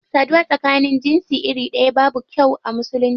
Saduwa tsakanin jinsi iri daya babu kyau a musulunci.